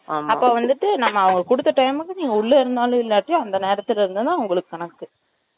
அப்ப வந்துட்டு, நம்ம அவங்க குடுத்த time க்கு, நீங்க உள்ள இருந்தாலும், இல்லாட்டி, அந்த நேரத்துல இருந்துதான், அவங்களுக்கு கணக்கு